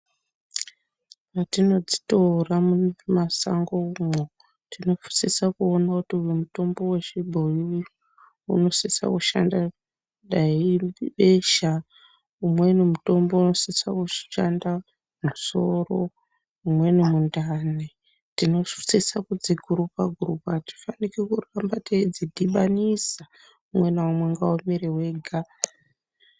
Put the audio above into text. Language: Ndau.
Mwetinodzitora mumasango umwo tinosisa kuona kuti uyu mutombo wechibhoyi unosisa kushanda ,dai ibesha, umweni mutombo unosise kushanda musoro, umweni mundani, tinosise kudzi siyanisa, atifaniri kurambe teidzidhibanisa, umwe naumwe ngaumire wega.